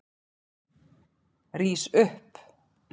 Rís upp!